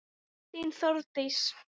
Þín, Þórdís.